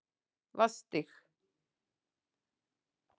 Vatnsstíg